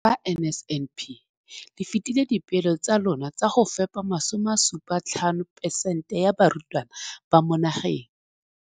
Ka NSNP le fetile dipeelo tsa lona tsa go fepa masome a supa le botlhano a diperesente ya barutwana ba mo nageng.